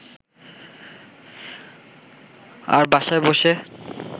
আর বাসায় বসে